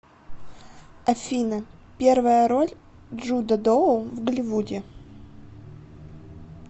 афина первая роль джуда доу в голливуде